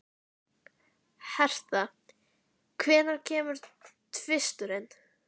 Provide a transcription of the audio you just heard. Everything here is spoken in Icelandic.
Hertha, hvenær kemur tvisturinn?